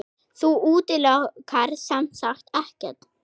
Þú útilokar semsagt ekkert?